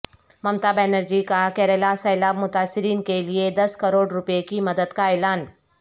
ممتا بنرجی کا کیرالہ سیلاب متاثرین کے لئے دس کروڑ روپے کی مدد کا اعلان